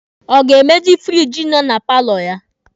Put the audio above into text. Ọ ga-emezi firiji nọ na paalọ ya?